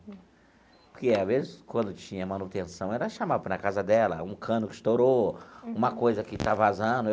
Porque, às vezes, quando tinha manutenção, ela chamava para a casa dela um cano que estourou, uma coisa que estava vazando.